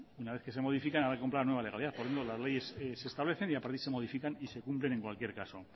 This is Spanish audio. una vez que se modifican habrá que comprar la nueva legalidad poniendo las leyes que se establecen y a partir de ahí se modifican y se cumplen en cualquier caso